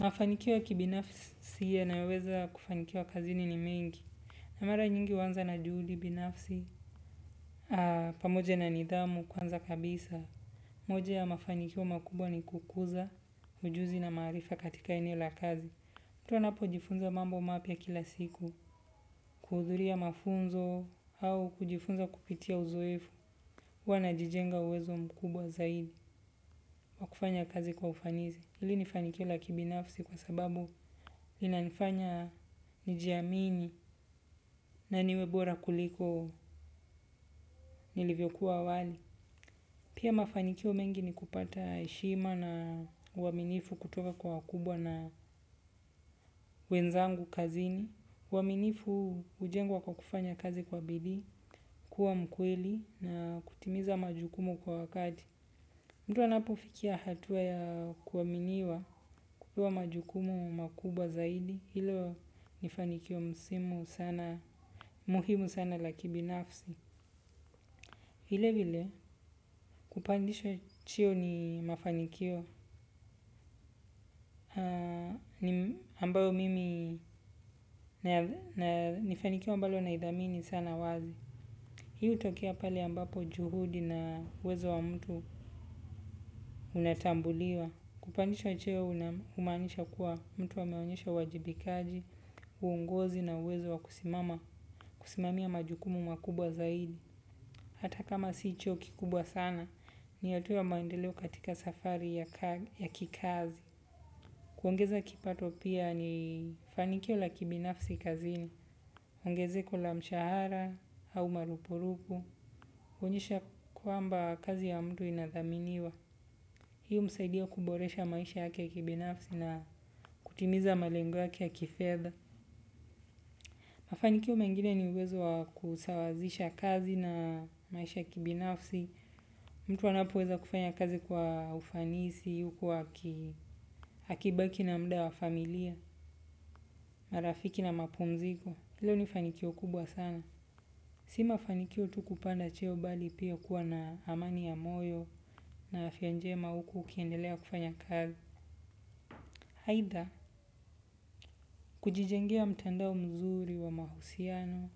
Mafanikio ya kibinafsi yanaweza kufanikiwa kazini ni mingi. Na mara nyingi huanza na juhudi binafsi, pamoja na nidhamu kwanza kabisa. Moja ya mafanikio makubwa ni kukuza, ujuzi na maarifa katika eneo la kazi. Mtu anapojifunza mambo mapya kila siku, kuhudhuria mafunzo au kujifunza kupitia uzoefu. Wanajijenga uwezo mkubwa zaidi, wa kufanya kazi kwa ufanisi. Hili ni fanikio la kibinafsi kwa sababu linanifanya nijiamini na niwe bora kuliko nilivyokuwa awali. Pia mafanikio mengi ni kupata heshima na uaminifu kutoka kwa wakubwa na wenzangu kazini. Uaminifu hujengwa kwa kufanya kazi kwa bidii, kuwa mkweli na kutimiza majukumu kwa wakati. Mtu anapofikia hatua ya kuaminiwa kupewa majukumu makubwa zaidi, hilo ni fanikio msimu sana, muhimu sana la kibinafsi. Vile vile kupandishwa cheo ni mafanikio na, ambayo mimi, ni fanikio ambalo naidhamini sana wazi. Hii hutokea pale ambapo juhudi na uwezo wa mtu unatambuliwa. Kupanishwa cheo naam humaanisha kuwa mtu ameonyesha uwajibikaji, uongozi na uwezo wa kusimama, kusimamia majukumu makubwa zaidi. Hata kama si hicho kikubwa sana, ni ya tu ya maendeleo katika safari ya kikazi. Kuongeza kipato pia ni fanikio la kibinafsi kazini. Ongezeko la mshahara au marupu rupu. Huonyesha kwamba kazi ya mtu inathaminiwa. Hii humsaidia kuboresha maisha yake ya kibinafsi na kutimiza malengo yake ya kifedha. Mafanikio mengine ni uwezo wa kusawazisha kazi na maisha ya kibinafsi. Mtu anapoweza kufanya kazi kwa ufanisi, huku akibaki na muda wa familia, marafiki na mapumziko. Hilo ni fanikio kubwa sana. Si mafanikio tu kupanda cheo bali pia kuwa na amani ya moyo na afya njema huku ukiendelea kufanya kazi. Aidha, kujijengea mtandao mzuri wa mahusiano.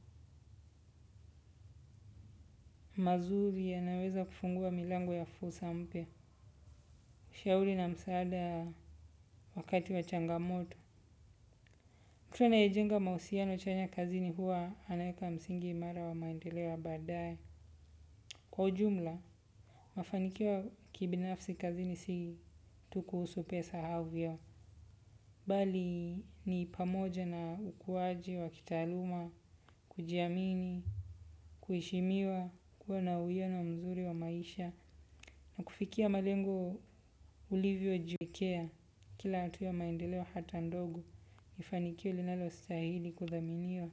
Mazuri yanaweza kufungua milango ya fursa mpya. Shauri na msaada wakati wa changamoto. Hivo anayejenga mahusiano chanya kazini huwa anaeka msingi imara wa maendeleo ya baadae. Kwa ujumla, mafanikio kibinafsi kazini si tu kuhusu pesa au vyeo. Bali ni pamoja na ukuaji wa kitaaluma kujiamini kuheshimiwa kuwa na uwiano mzuri wa maisha, kufikia malengo ulivyojiwekea, kila hatua ya maendeleo hata ndogo, ni fanikio linalostahili kuthaminiwa.